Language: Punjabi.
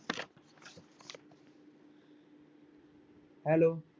Hello